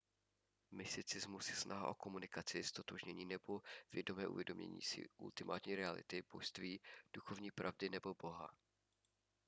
mysticismus je snaha o komunikaci ztotožnění nebo vědomé uvědomění si ultimátní reality božství duchovní pravdy nebo boha